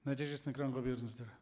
нәтижесін экранға беріңіздер